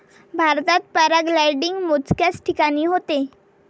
भारतात पॅराग्लायडिंग मोजक्याच ठिकाणी होते